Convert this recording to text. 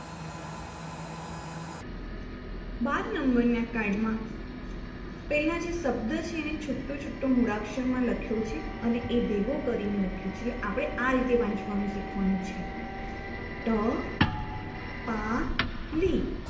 બાર નંબરના card માં પેલા જે શબ્દ છે એને છૂટુંછૂટું મૂળાક્ષરમાં લખ્યું છે અને એ ભેગું કરીને લખ્યું છે આપણે આ રીતે વાંચવાનું છે શીખવાનું છે ટપાલી